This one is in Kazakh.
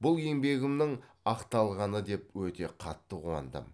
бұл еңбегімнің ақталғаны деп өте қатты қуандым